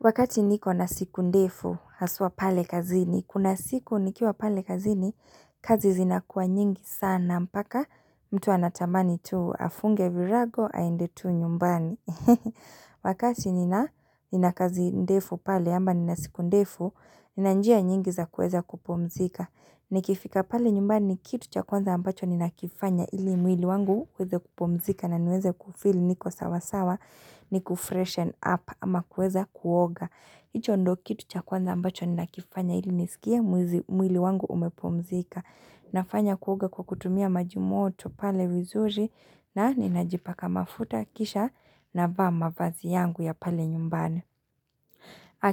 Wakati niko na siku ndefu, haswa pale kazini. Kuna siku nikiwa pale kazini, kazi zinakuwa nyingi sana. Mpaka, mtu anatamani tu afunge virago, aende tu nyumbani. Wakati nina kazi ndefu pale, ama nina siku ndefu, nina njia nyingi za kuweza kupumzika. Nikifika pale nyumbani, kitu cha kwanza ambacho ninakifanya ili mwili wangu uweze kupumzika. Na niweze kufeel niko sawasawa ni kufreshen up ama kuweza kuoga hicho ndo kitu cha kwanza ambacho ninakifanya ili nisikie mwizi mwili wangu umepumzika nafanya kuoga kwa kutumia maji moto pale vizuri na ninajipaka mafuta kisha navaa mavazi yangu ya pale nyumbani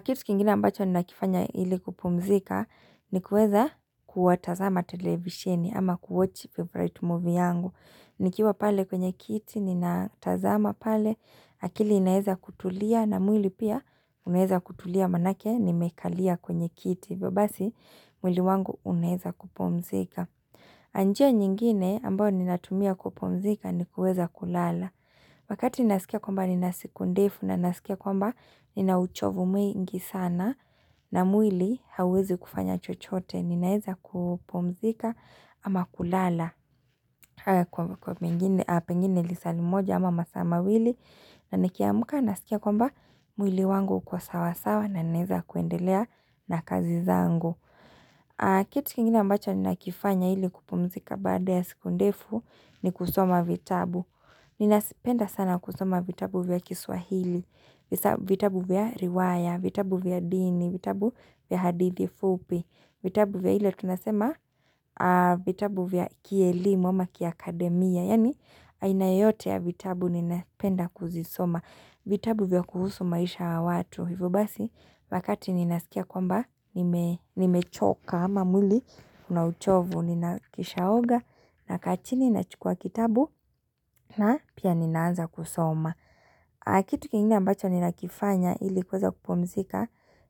Kitu kingine ambacho ninakifanya ili kupumzika ni kuweza kuwatazama televisheni ama kuwatch favourite movie yangu nikiwa pale kwenye kiti, ninatazama pale, akili inaezakutulia na mwili pia, unaezakutulia manake, nimekalia kwenye kiti, hivyo basi mwili wangu unaeza kupumzika. Na njia nyingine ambayo ninatumia kupumzika ni kuweza kulala. Wakati ninasikia kwamba nina siku ndefu na ninasikia kwamba nina uchovu mwingi sana na mwili hauwezi kufanya chochote ninaeza kupumzika ama kulala kwa pengine a pengine lisaa limoja ama masaa mawili na nikiamka ninasikia kwamba mwili wangu uko sawasawa na ninaeza kuendelea na kazi zangu. Kit kingine ambacho ninakifanya ili kupumzika baada ya siku ndefu ni kusoma vitabu. Ninasipenda sana kusoma vitabu vya kiswahili, vitabu vya riwaya, vitabu vya dini, vitabu vya hadithi fupi, vitabu vya ile tunasema vitabu vya kielimu ama kiakademia. Yaani aina yoyote ya vitabu ninapenda kuzisoma vitabu vya kuhusu maisha wa watu Hivyo basi wakati ninasikia kwamba nimechoka ama mwili una uchovu nina kishaoga nakaa chini na chukua kitabu na pia ninaanza kusoma Kitu kingine ambacho ninakifanya ilikuweza kupumzika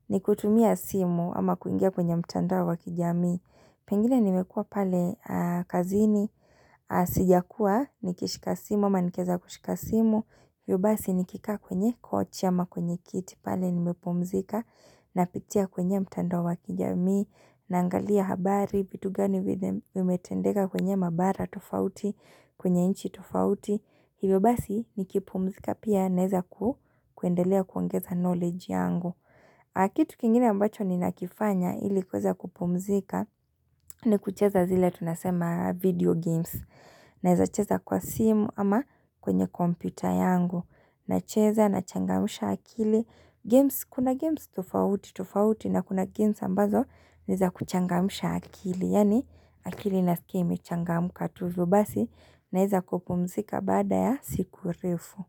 ni kutumia simu ama kuingia kwenye mtandao wa kijami Pengine nimekua pale kazini, sijakuwa, nikishika simu, ama nikieza kushika simu, hivyo basi nikikaa kwenye kochi ama kwenye kiti pale nimepumzika, napitia kwenye mtandao wa kijamii, naangalia habari, vitu gani venye vimetendeka kwenye mabara tofauti, kwenye nchi tofauti, hivyo basi nikipumzika pia naeza ku kuendelea kuongeza knowledge yangu. A kitu kingine ambacho ninakifanya ili kueza kupumzika ni kucheza zile tunasema video games Naeza cheza kwa simu ama kwenye kompyuta yangu nacheza na changamsha akili games Kuna games tofauti tofauti na kuna games ambazo ni za kuchangamsha akili Yaani akili na inasikia imechangamka tuzubasi naeza kupumzika baada ya siku refu.